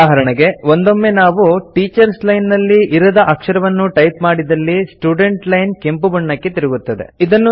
ಉದಾಹರೆಣೆಗೆ ಒಂದೊಮ್ಮೆ ನಾವು teachers line ನಲ್ಲಿ ಇರದ ಅಕ್ಷರವನ್ನು ಟೈಪ್ ಮಾಡಿದಲ್ಲಿ ಸ್ಟುಡೆಂಟ್ ಲೈನ್ ಕೆಂಪುಬಣ್ಣಕ್ಕೆ ತಿರುಗುತ್ತದೆ